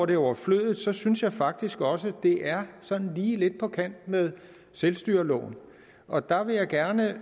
det er overflødigt synes jeg faktisk også at det er sådan lige lidt på kant med selvstyreloven og der vil jeg gerne